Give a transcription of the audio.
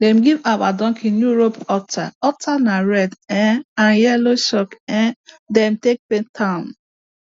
them give our donkey new rope halter halter na red um and yellow chalk um them take paint am